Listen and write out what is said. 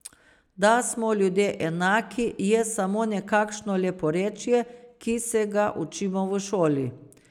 Da smo ljudje enaki, je samo nekakšno leporečje, ki se ga učimo v šoli.